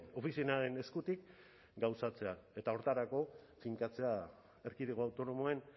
ofizinaren eskutik gauzatzea eta horretarako finkatzea erkidego autonomoen